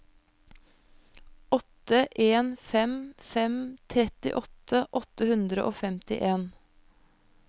åtte en fem fem trettiåtte åtte hundre og femtien